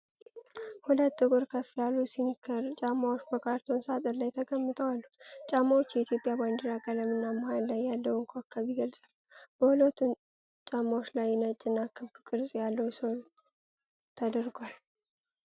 ሁለት ጥቁር ከፍ ያሉ ስኒከር ጫማዎች በካርቶን ሳጥን ላይ ተቀምጠው አሉ። ጫማዎቹ የኢትዮጵያን ባንዲራ ቀለም እና መሃል ላይ ያለውን ኮከብ ይገልጻሉ። በሁለቱም ጫማዎች ላይ ነጭ እና ክብ ቅርጽ ያለው ሶል ተደርጓል።